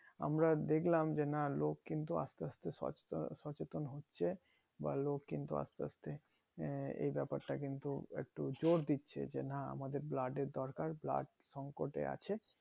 আমরা দেখলাম যে না লোক কিন্তু আস্তে আস্তে সস সচেতন হচ্ছে বা লোক কিন্তু আস্তে আস্তে আহ এই ব্যাপারটা কিন্তু একটু জোর দিচ্ছে যে না আমাদের blood এর দরকার blood সংকট এ আছে